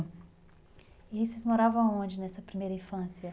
E aí vocês moravam aonde nessa primeira infância?